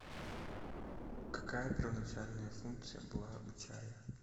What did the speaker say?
какая первоначальная функция была у чая